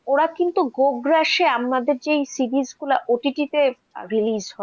ওরা কিন্তু গোগ্রাসে আমাদের যে series গুলো ওটিটিতে release হয়, হ্যাঁ, হ্যাঁ,